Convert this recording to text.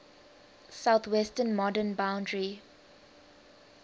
southwestern modern boundary